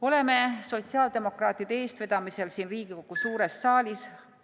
Oleme sotsiaaldemokraatide eestvedamisel siin Riigikogu suures saalis ...